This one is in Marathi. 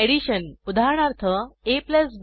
एडिशन उदाहरणार्थ